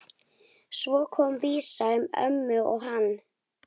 Svo kom vísa um ömmu og hann